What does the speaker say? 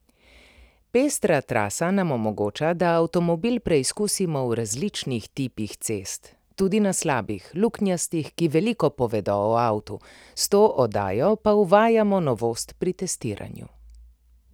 Pestra trasa nam omogoča, da avtomobil preizkusimo v različnih tipih cest, tudi na slabih, luknjastih, ki veliko povedo o avtu, s to oddajo pa uvajamo novost pri testiranju.